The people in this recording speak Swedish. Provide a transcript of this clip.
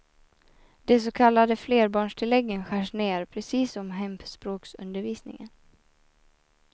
De så kallade flerbarnstilläggen skärs ned, precis som hemspråksundervisningen.